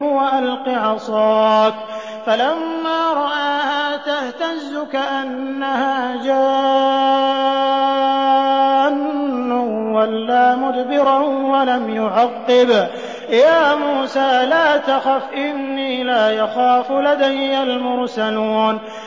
وَأَلْقِ عَصَاكَ ۚ فَلَمَّا رَآهَا تَهْتَزُّ كَأَنَّهَا جَانٌّ وَلَّىٰ مُدْبِرًا وَلَمْ يُعَقِّبْ ۚ يَا مُوسَىٰ لَا تَخَفْ إِنِّي لَا يَخَافُ لَدَيَّ الْمُرْسَلُونَ